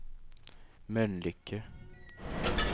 Mölnlycke